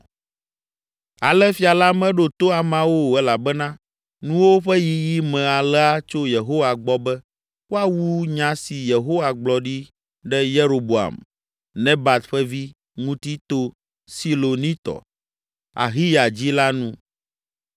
Ale fia la meɖo to ameawo o elabena nuwo ƒe yiyi me alea tso Yehowa gbɔ be, woawu nya si Yehowa gblɔ ɖi ɖe Yeroboam, Nebat ƒe vi, ŋuti to Silonitɔ, Ahiya dzi la nu.